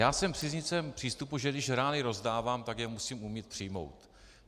Já jsem příznivcem přístupu, že když rány rozdávám, tak je musím umět přijmout.